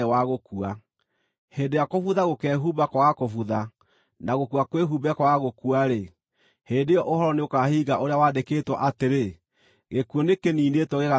Hĩndĩ ĩrĩa kũbutha gũkeehumba kwaga kũbutha, na gũkua kwĩhumbe kwaga gũkua-rĩ, hĩndĩ ĩyo ũhoro nĩũkahinga ũrĩa wandĩkĩtwo atĩrĩ, “Gĩkuũ nĩkĩniinĩtwo gĩgatoorio biũ.”